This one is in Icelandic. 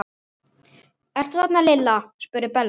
Ertu þarna Lilla? spurði Bella.